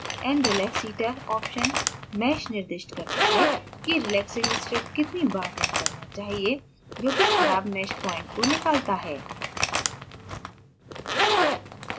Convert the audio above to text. nrelaxiter option mesh निर्दिष्ट करता है कि relaxing script कितनी bad रन करना चाहिए जो कि खराब mesh प्वाइंट को निकालता है